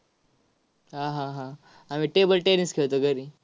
हा, हा, हा. आम्ही table tennis खेळतो घरी.